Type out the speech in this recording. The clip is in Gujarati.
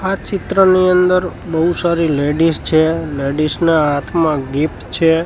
આ ચિત્રની અંદર બહુ સારી લેડીઝ છે લેડીઝ ના હાથમાં ગિફ્ટ છે.